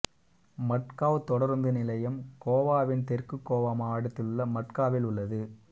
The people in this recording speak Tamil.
மட்காவ் தொடருந்து நிலையம் கோவாவின் தெற்கு கோவா மாவட்டத்திலுள்ள மட்காவில் உள்ளது